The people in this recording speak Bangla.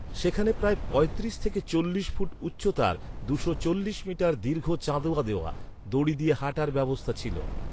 সেখানে প্রায় পঁয়ত্রিশ থেকে চল্লিশ ফুট উচ্চতার দুশো চল্লিশ মিটার দীর্ঘ চাঁদোয়া দেওয়া, দড়ি দিয়ে হাঁটার ব্যবস্থা ছিল।